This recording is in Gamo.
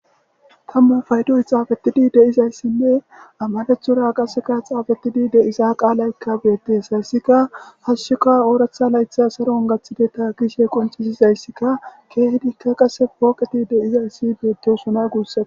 Tamma payddoy xafettidi de'izayssine amarathora qasse xafetidi de'za qaalayka bettess hayssika orththa layththa hashshu saaron gaththidetta gess guyyeraka poqqeti bettosona gussako.